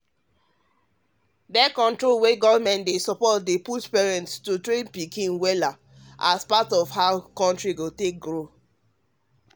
birth-conrol wey government dey support dey push parents um to train um pikin um pikin wellas part of how um the country go grow.